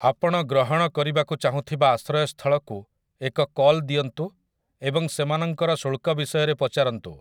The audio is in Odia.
ଆପଣ ଗ୍ରହଣ କରିବାକୁ ଚାହୁଁଥିବା ଆଶ୍ରୟସ୍ଥଳକୁ ଏକ କଲ୍ ଦିଅନ୍ତୁ ଏବଂ ସେମାନଙ୍କର ଶୁଳ୍କ ବିଷୟରେ ପଚାରନ୍ତୁ ।